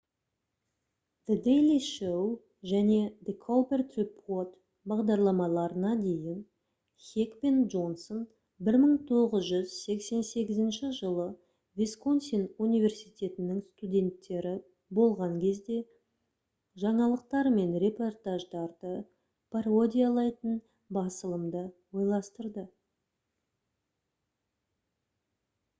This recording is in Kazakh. the daily show және the colbert report бағдарламаларына дейін хек пен джонсон 1988 жылы висконсин университетінің студенттері болған кезде жаңалықтар мен репортаждарды пародиялайтын басылымды ойластырды